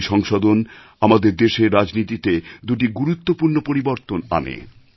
এই সংশোধন আমাদের দেশের রাজনীতিতে দুটি গুরুত্বপূর্ণ পরিবর্তন আনে